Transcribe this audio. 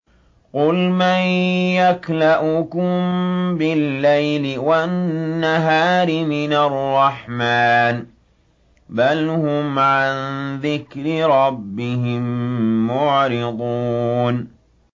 قُلْ مَن يَكْلَؤُكُم بِاللَّيْلِ وَالنَّهَارِ مِنَ الرَّحْمَٰنِ ۗ بَلْ هُمْ عَن ذِكْرِ رَبِّهِم مُّعْرِضُونَ